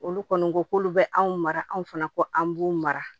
Olu kɔni ko k'olu bɛ anw mara anw fana ko an b'u mara